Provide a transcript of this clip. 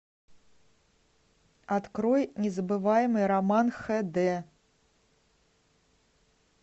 открой незабываемый роман эйч ди